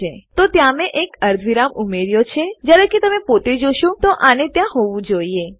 તો મેં ત્યાં એક અર્ધવિરામ ઉમેર્યો છે જયારે કે તમે પોતે જોશો તો આને ત્યાં હોવું જોઈએ